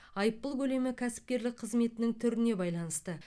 айыппұл көлемі кәсіпкерлік қызметінің түріне байланысты